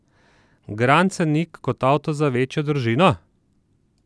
Grand scenic kot avto za večjo družino?